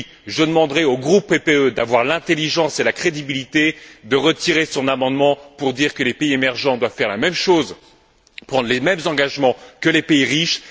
Je demanderai ensuite au groupe PPE d'avoir l'intelligence et la crédibilité de retirer son amendement disant que les pays émergents doivent faire la même chose, prendre les mêmes engagements que les pays riches.